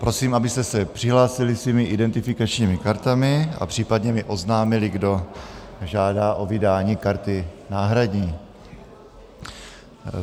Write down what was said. Prosím, abyste se přihlásili svými identifikačními kartami a případně mi oznámili, kdo žádá o vydání karty náhradní.